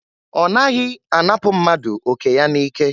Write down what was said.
Ọ naghị anapụ mmadụ oke ya n'ike.